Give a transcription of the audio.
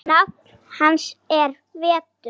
Nafn hans er Vetur.